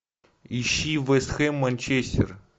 ищи вест хэм манчестер